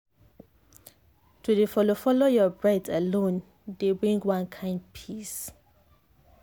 to dey follow follow your breath alone dey bring one kind peace.